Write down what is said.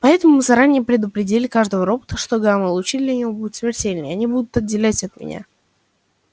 поэтому мы заранее предупредили каждого робота что гамма-лучи для него будут смертельны и они будут отделять от меня